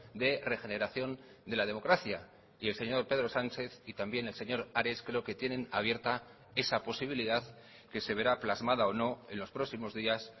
de regeneración de la democracia y el señor pedro sánchez y también el señor ares creo que tienen abierta esa posibilidad que se verá plasmada o no en los próximos días